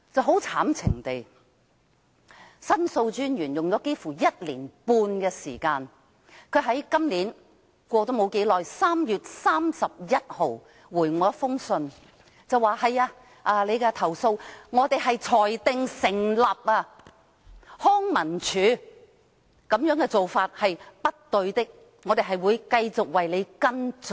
很可悲，申訴專員用了幾乎1年半的時間，在今年3月31日回覆我說我的投訴裁定成立，康文署這種做法是不對的，他們會繼續為我跟進。